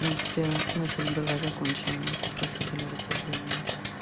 в принципе мысль была закончена это просто были рассуждение